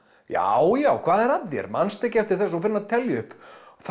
já já hvað er að þér manstu ekki eftir þessu svo fer hann að telja upp